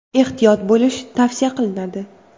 Ehtiyot bo‘lish tavsiya qilinadi!